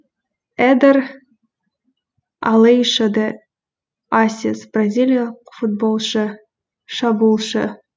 эдер алейшо де ассис бразилиялық футболшы шабуылшы